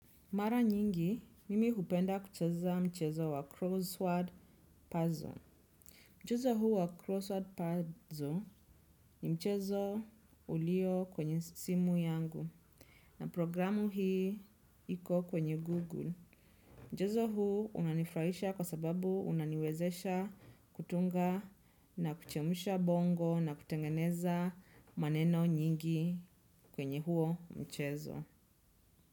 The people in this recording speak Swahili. Mara nyingi, mimi hupenda kucheza mchezo wa crossword puzzle. Mchezo huu wa crossword puzzle ni mchezo ulio kwenye simu yangu. Na programu hii iko kwenye google mchezo huu unanifurahisha kwa sababu unaniwezesha kutunga na kuchemsha bongo na kutengeneza maneno nyingi kwenye huo mchezo.